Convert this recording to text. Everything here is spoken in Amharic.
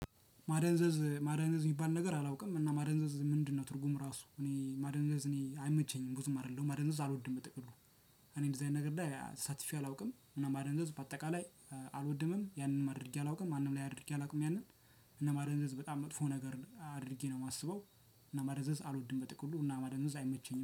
ማደንዘዝ ማደንዘዝ የሚባል ነገር አላውቅም እና ማደንዘዝ ምንድነው? ትርጉም ራሱ እኔ ማደንዘዝ እኔ አይመቸኝም ብዙም አይደለሁም ማደንዘዝ አልወድም በጥቅሉ። እኔ እንደዚህ አይነት ነገር ላይ ተሳትፌ አላውቅም ማደንዘዝ ባጠቃላይ አልወድምም ያንንም አድርጌ አላውቅም ማንም ላይ አድርጌ አላውቅም። ያንን እና ማደንዘዝ በጣም መጥፎ ነገር አድርጌ ነው የማስበው። እና ማደንዘዝ አልወድም በጥቅሉ እና ማደንዘዝ አይመቸኝም